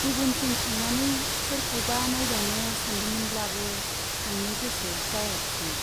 गुबुनथिं थांनानै सोरखौबा नाइबावनो सानदोंमोनब्लाबो थांनो गोसो जायाखिसै।